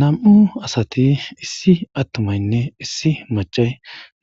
NamU'u asati issi attumaynne issi machay